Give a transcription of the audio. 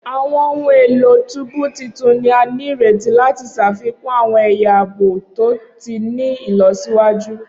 Awọn ohun elo tubu titun ni a nireti lati ṣafikun awọn ẹya aabo to ti ni ilọsiwaju.